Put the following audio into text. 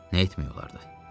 Nə etmək olardı?